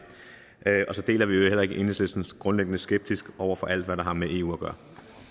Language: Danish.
og så deler vi i øvrigt heller ikke enhedslistens grundlæggende skepsis over for alt hvad der har med eu at gøre